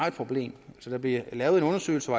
et problem at der blev lavet en undersøgelse